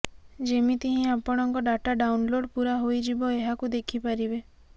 ଯେମିତି ହିଁ ଆପଣଙ୍କ ଡାଟା ଡାଉନ୍ଲୋଡ ପୂରା ହୋଇଯିବ ଏହାକୁ ଦେଖି ପାରିବେ